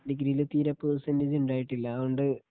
ഡിഗ്രിയിൽ തീരെ പേർസെന്റേജ് ഇണ്ടായിട്ടില്ല അതോണ്ട്